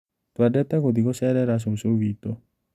Twendete gũthĩi gũcerera cucu witũ.